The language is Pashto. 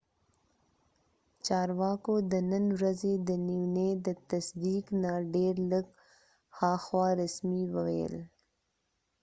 چارواکو د نن ورځې د نیونې د تصدیق نه ډیر لږ هاخوا رسمي وویل